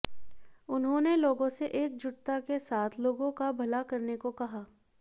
उन्होंने लोगों से एकजुटता के साथ लोगों का भला करने को कहा